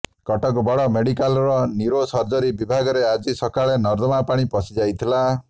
କଟକ ବଡ଼ ମେଡିକାଲର ନ୍ୟୁରୋସର୍ଜରୀ ବିଭାଗରେ ଆଜି ସକାଳେ ନର୍ଦ୍ଦମା ପାଣି ପଶିଯାଇଥିଲା